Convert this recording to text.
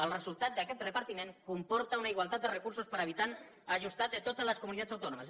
el resultat d’aquest repartiment comporta una igualtat de recursos per habitant ajustat de totes les comunitats autònomes